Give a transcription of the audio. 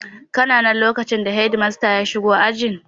Kana nan a lokacin da shedimasta ya shigo ajin?